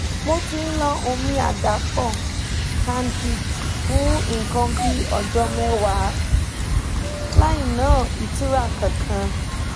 mo ti ń lo omi àdàpọ̀ candid fún nǹkan bí ọjọ́ mẹ́wàá láìní ìtura kankan